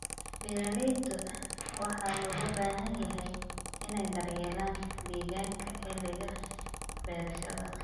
Beeralayda waxaa looga baahan yahay inay daryeelaan deegaanka xilliga beerashada.